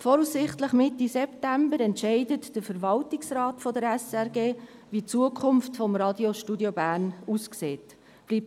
Voraussichtlich Mitte September entscheidet der Verwaltungsrat der SRG, wie die Zukunft des Radiostudios Bern aussehen wird.